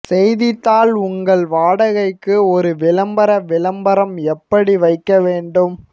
செய்தித்தாள் உங்கள் வாடகைக்கு ஒரு விளம்பர விளம்பரம் எப்படி வைக்க வேண்டும்